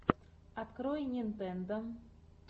открой нинтендо